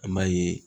An m'a ye